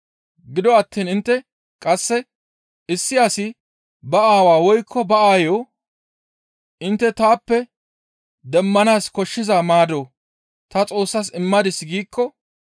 Gido attiin intte qasse, ‹Issi asi ba aawaa woykko ba aayo intte taappe demmanaas koshshiza maado ta Xoossas immadis› giikko,